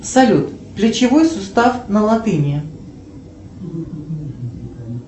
салют плечевой сустав на латыни